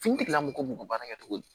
Finitigilamɔgɔw b'u ka baara kɛ cogo di